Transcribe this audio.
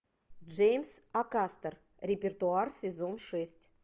джеймс акастер репертуар сезон шесть